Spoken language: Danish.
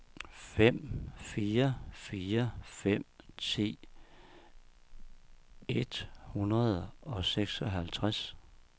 fem fire fire fem ti et hundrede og seksoghalvtreds